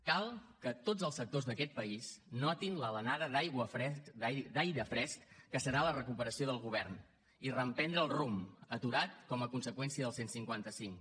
cal que tots els sectors d’aquest país notin l’alenada d’aire fresc que serà la recuperació del govern i reprendre el rumb aturat com a conseqüència del cent i cinquanta cinc